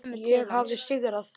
Ég hafði sigrað.